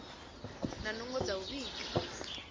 na nungo dza u vhiga